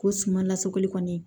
Ko suman lasɔrɔli kɔni